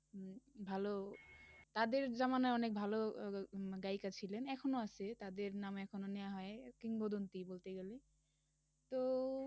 ভালো, তাদের জামানায় অনেক ভালো উম গায়িকা ছিলেন, এখনও আছে তাদের নাম এখনও নেওয়া হয় কিংবদন্তি বলতে গেলে তো